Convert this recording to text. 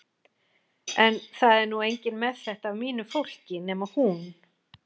En það er nú enginn með þetta af mínu fólki nema hún.